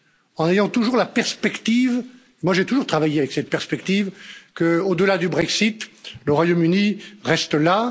En ayant toujours la perspective j'ai toujours travaillé avec cette perspective qu'au delà du Brexit, le Royaume Uni reste là.